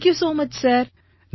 thank you so much sir